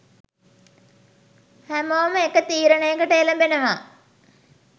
හැමෝම එක තීරණයකට එළඹෙනව.